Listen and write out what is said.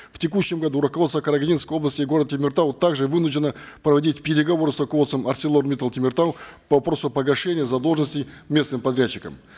в текущем году руководство карагандинской области и города темиртау также вынуждено проводить переговоры с руководством арселор миттал темиртау по вопросу о погашении задолженности местным подрядчикам